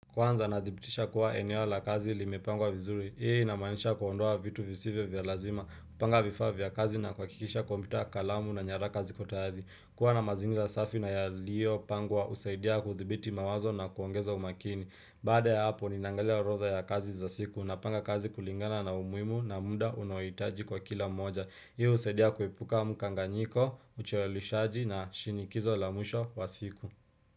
Kwanza nadhibitisha kuwa eneo la kazi limepangwa vizuri. Hii inamanisha kuondoa vitu visivyo vya lazima. Kupanga vifaa vya kazi na kuhakikisha kompyuta kalamu na nyaraka ziko tayari Kwa na mazingira safi na yaliyopangwa husaidia kudhibiti mawazo na kuongeza umakini. Baada ya hapo ninaangalia orodha ya kazi za siku. Napanga kazi kulingana na umuhimu na muda unaohitaji kwa kila moja. Hii husaidia kuepuka mkanganyiko, ucheleweshaji na shinikizo la mwisho wa siku.